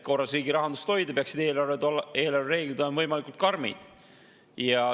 Riigi rahanduse korras hoidmiseks peaksid eelarvereeglid olema võimalikult karmid.